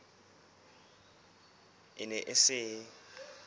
e ne e se e